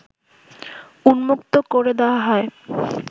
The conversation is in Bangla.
উন্মুক্ত করে দেয়া হয়